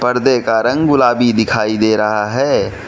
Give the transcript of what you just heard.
पर्दे का रंग गुलाबी दिखाई दे रहा है।